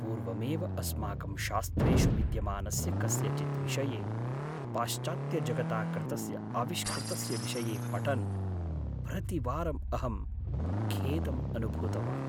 पूर्वमेव अस्माकं शास्त्रेषु विद्यमानस्य कस्यचित् विषये पाश्चात्यजगता कृतस्य आविष्कृतस्य विषये पठन् प्रतिवारं अहं खेदम् अनुभूतवान्।